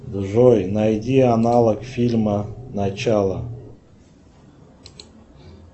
джой найди аналог фильма начало